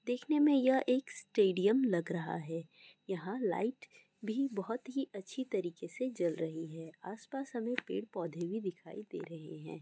देखने में यह एक स्टेडियम लग रहा है यहां लाइट भी बहुत ही अच्छी तरीके से ज्वल रही है आसपास हमें पेड़ पौधे भी दिखाई दे रहे हैं।